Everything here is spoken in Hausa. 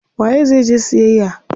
Waye zai je siyayya?